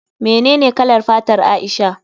Menene kalar fatar Aisha?